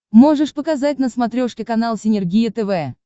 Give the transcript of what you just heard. можешь показать на смотрешке канал синергия тв